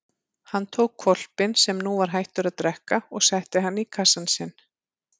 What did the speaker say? Hann tók hvolpinn sem nú var hættur að drekka og setti hann í kassann sinn.